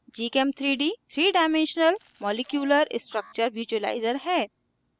gchem3d 3 dimensional molecular structure visualizer visualizer है